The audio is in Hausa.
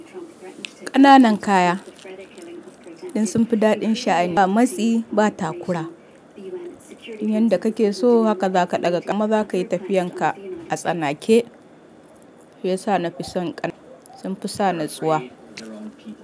Ƙananan kaya ɗin sun fi daɗin sha'ani ba matsi ba takura. Du yanda kake so haka za ka ɗaga ƙama za ka yi tafiyan ka a tsanake. Ya sa na fi son ƙananan kaya sun fi sa ni tsuwa.